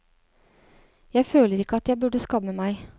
Jeg føler ikke at jeg burde skamme meg.